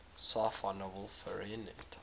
sci fi novel fahrenheit